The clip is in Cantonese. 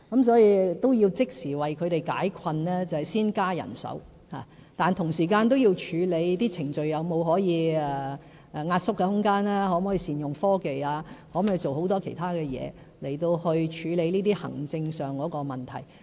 所以，要即時為他們解困，便需要先增加人手，但同時間要處理程序上是否有壓縮空間，可否善用科技及其他工作來處理這些行政問題。